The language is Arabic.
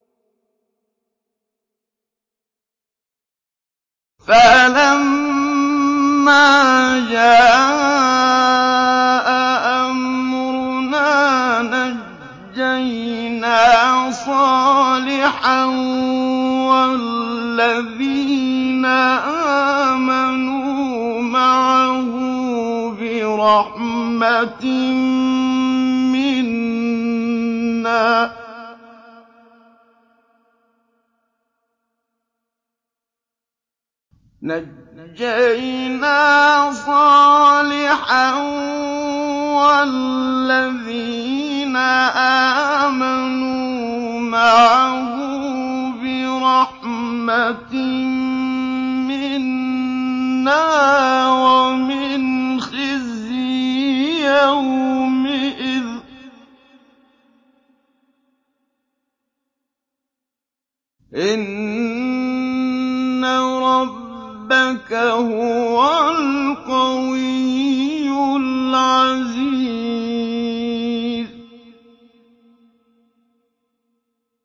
فَلَمَّا جَاءَ أَمْرُنَا نَجَّيْنَا صَالِحًا وَالَّذِينَ آمَنُوا مَعَهُ بِرَحْمَةٍ مِّنَّا وَمِنْ خِزْيِ يَوْمِئِذٍ ۗ إِنَّ رَبَّكَ هُوَ الْقَوِيُّ الْعَزِيزُ